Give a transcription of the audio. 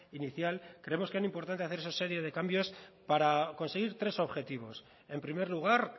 inicial creemos que era importante hacer esa serie de cambios para conseguir tres objetivos en primer lugar